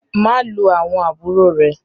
Má lù àwọn àbúrò rẹ!